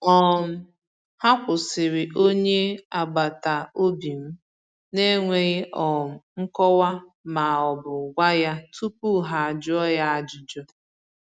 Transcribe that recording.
um Ha kwụsịrị onye agbata obi m n’enweghị um nkọwa ma ọ bụ gwa ya tupu ha jụọ ya ajụjụ.